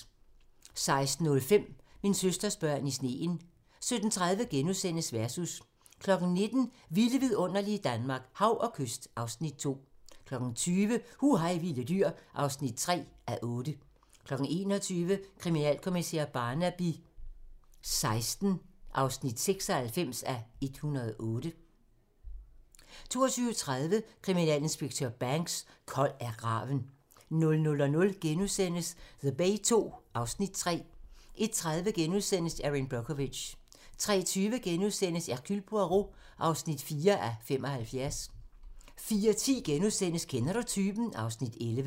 16:05: Min søsters børn i sneen 17:30: Versus * 19:00: Vilde vidunderlige Danmark - Hav og kyst (Afs. 2) 20:00: Hu hej vilde dyr (3:8) 21:00: Kriminalkommissær Barnaby XVI (96:108) 22:30: Kriminalinspektør Banks: Kold er graven 00:00: The Bay II (Afs. 3)* 01:30: Erin Brockovich * 03:20: Hercule Poirot (4:75)* 04:10: Kender du typen? (Afs. 11)*